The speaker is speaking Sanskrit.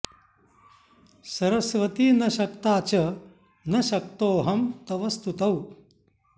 सरस्वती न शक्ता च न शक्तोऽहं तव स्तुतौ